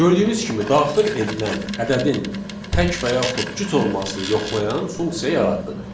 Gördüyünüz kimi daxil edilən ədədin tək və yaxud cüt olmasını yoxlayan funksiya yaratdıq.